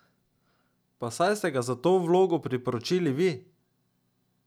Pa saj ste ga za to vlogo priporočili vi.